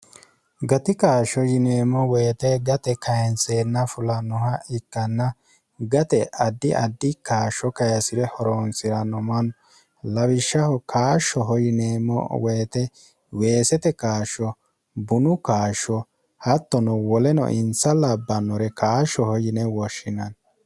gati kaashsho yineemmo woyite gate kayintseenna fulannoha ikkanna gate addi addi kaashsho kayesi're horoonsi'ranno manno lawishshaho kaashshoho yineemmo woyite weesete kaashsho bunu kaashsho hattono woleno insa labbannore kaashshoho yine woshshinanni